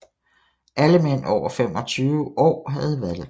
Alle mænd over 25 år havde valgret